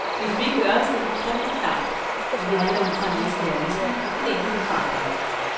Hvis vi ikke gør os det udtrykkeligt klart, at vi handler ud fra en vis idealisme, vil intet blive forandret.